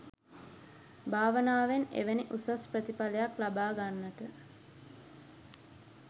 භාවනාවෙන් එවැනි උසස් ප්‍රතිඵලයක් ලබාගන්නට